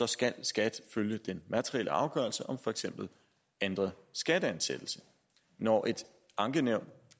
skal skat følge den materielle afgørelse om for eksempel ændret skatteansættelse når et ankenævn